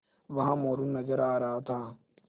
वहाँ मोरू नज़र आ रहा था